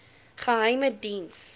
geheimediens